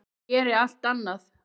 Ég geri allt annað.